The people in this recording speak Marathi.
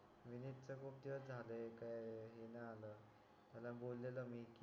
विनीत तर खूप दिवस झाले काय हे नाय आला त्याला बोललो मी कि